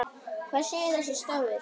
Hvað segir þessi stafur?